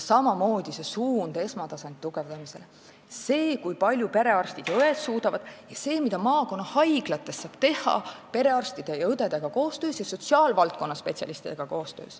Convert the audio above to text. Samamoodi on õige esmatasandi tugevdamise suund, see, kui palju perearstid ja -õed suudavad, ja see, mida maakonnahaiglates saab teha koostöös perearstide ja õdedega ning sotsiaalvaldkonnaspetsialistidega.